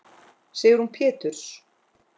Sigrún Péturs.